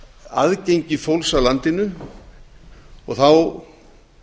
aðgengi fólks að landinu og þá